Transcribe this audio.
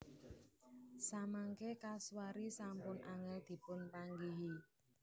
Samangké kasuari sampun angèl dipunpanggihi